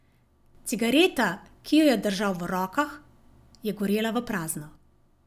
Cigareta, ki jo je držal v rokah, je gorela v prazno.